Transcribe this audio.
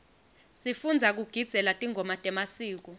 sifundza kugidzela tingoma temasiko